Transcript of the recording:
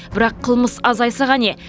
бірақ қылмыс азайса қане